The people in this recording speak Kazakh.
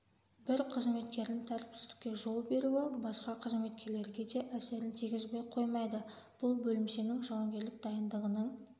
бір қызметкердің тәртіпсіздікке жол беруі басқа қызметкерлерге де әсерін тигізбей қоймайды бұл бөлімшенің жауынгерлік дайындығының